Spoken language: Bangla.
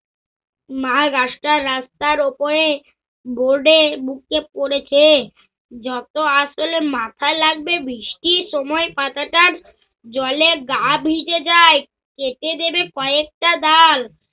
মা গাছটা রাস্তার ওপরে board এ বুকে পরেছে। যত আসলে মাথায় লাগবে বৃষ্টি সময় পাতাটার জলে গাঁ ভিজে যায়। খেতে দেবে কয়েকটা ডাল